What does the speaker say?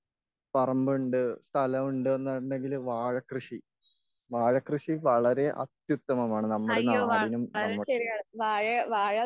പറമ്പുണ്ട് സ്ഥലണ്ട് എന്നുണ്ടെങ്കിൽ വാഴ കൃഷി, വാഴ കൃഷി വളരെ അത്യുത്തമമാണ് നമ്മുടെ നാടിനും നമ്മുടെ,